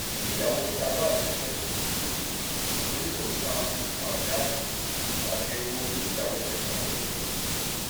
bíi ìyàwó sáraà ló fẹ́ mi um torí kò san nǹkan ìdáná um tàbí owó-orí ìyàwó kankan lórí mi